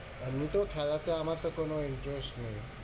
এমনিতেও খেলাতে আমার তো কোনো interest নেই।